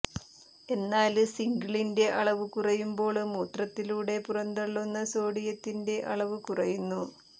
എന്നാല് സിങ്കിന്റെ അളവ് കുറയുമ്പോള് മൂത്രത്തിലൂടെ പുറന്തള്ളുന്ന സോഡിയത്തിന്റെ അളവ് കുറയുന്നു